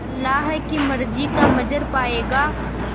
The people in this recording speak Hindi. अल्लाह की मर्ज़ी का मंज़र पायेगा